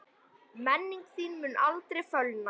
Minning þín mun aldrei fölna.